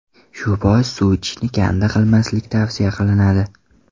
Shu bois suv ichishni kanda qilmaslik tavsiya qilinadi.